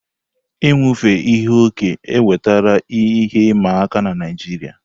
Inufe ihe okẹ́ ewetala ihe ịma aka n'Naịjiria.